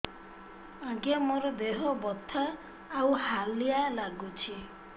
ଆଜ୍ଞା ମୋର ଦେହ ବଥା ଆଉ ହାଲିଆ ଲାଗୁଚି